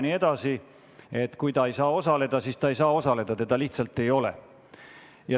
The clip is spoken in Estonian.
Kui ta ei saa istungil osaleda, siis ta ei saa osaleda, teda lihtsalt ei ole.